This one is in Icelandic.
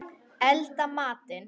Elda matinn.